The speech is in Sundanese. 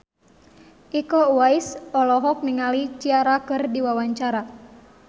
Iko Uwais olohok ningali Ciara keur diwawancara